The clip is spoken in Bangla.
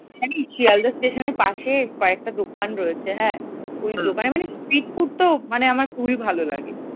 জানিস শিয়ালদা স্টেশনের পাশে কয়েকটা দোকান রয়েছে হ্যাঁ ওই দোকানে মানে street food তো আমার খুবই ভালো লাগে।